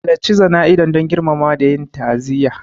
Halarci jana'izar don girmamawa da yin ta'aziyya.